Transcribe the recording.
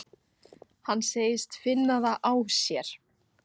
Hann segist finna það á sér.